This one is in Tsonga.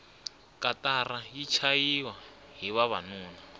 katara yi chayahi vavanuna